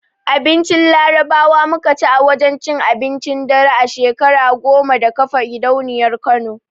Abincin Larabawa muka ci a wajen cin abincin dare na shekara goma da kafa gidauniyar Kano.